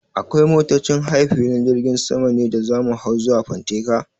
Akwai motocin haya a filin jirgin sama ne da za mu hau zuwa fanteka?